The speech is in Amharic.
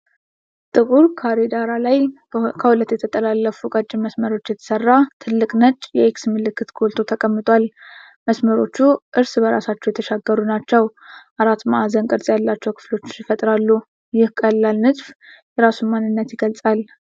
ጥቁር ካሬ ዳራ ላይ፣ ከሁለት የተጠላለፉ ቀጫጭን መስመሮች የተሰራ ትልቅ ነጭ የኤክስ ምልክት ጎልቶ ተቀምጧል። መስመሮቹ እርስ በርሳቸው የተሻገሩ ናቸው፡፡ አራት ማዕዘን ቅርጽ ያላቸው ክፍሎች ይፈጥራሉ። ይህ ቀላል ንድፍ የራሱን ማንነት ይገልጻል።